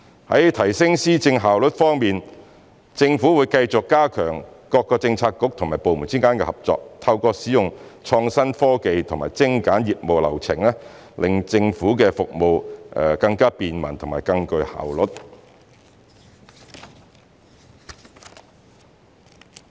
在提升施政效率方面，政府會繼續加強各政策局及部門之間的合作，透過使用創新科技及精簡業務流程，令政府的服務更便民和更具效率。